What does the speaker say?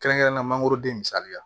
Kɛrɛnkɛrɛnnenya la mangoro den misali la